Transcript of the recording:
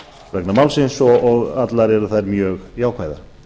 vegna málsins og allar eru þær mjög jákvæðar